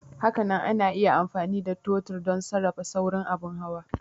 Hakanan ana iya amfani da totir don sarrafa saurin abin hawa.